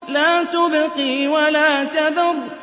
لَا تُبْقِي وَلَا تَذَرُ